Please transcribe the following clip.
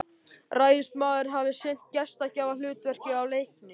Ræðismaðurinn hafði sinnt gestgjafahlutverkinu af leikni.